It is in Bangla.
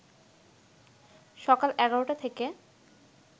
সকাল ১১টা থেকে